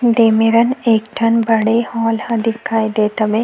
देमेरन एक ठन बड़े हॉल ह दिखाई देत हवे।